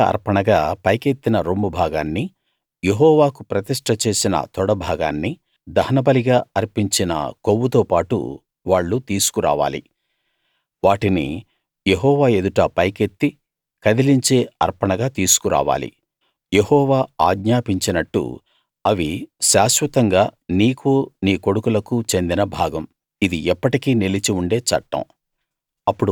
కదలిక అర్పణగా పైకెత్తిన రొమ్ము భాగాన్నీ యెహోవాకు ప్రతిష్ట చేసిన తొడ భాగాన్నీ దహనబలిగా అర్పించిన కొవ్వుతో పాటు వాళ్ళు తీసుకురావాలి వాటిని యెహోవా ఎదుట పైకెత్తి కదిలించే అర్పణగా తీసుకు రావాలి యెహోవా ఆజ్ఞాపించినట్టు అవి శాశ్వతంగా నీకూ నీ కొడుకులకూ చెందిన భాగం ఇది ఎప్పటికీ నిలిచి ఉండే చట్టం